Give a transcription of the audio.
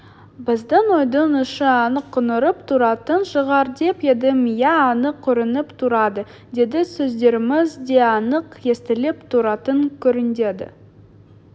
біздің үйдің іші анық көрініп тұратын шығар деп едім иә анық көрініп тұрады-деді-сөздеріміз де анық естіліп тұратын көрінеді